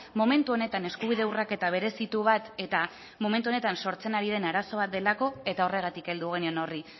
momentu honetan eskubide urraketa berezitu bat eta momentu honetan sortzen ari den arazo bat delako eta horregatik heldu genion horri